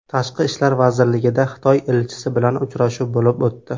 Tashqi ishlar vazirligida Xitoy elchisi bilan uchrashuv bo‘lib o‘tdi.